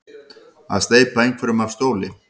Að steypa einhverjum af stóli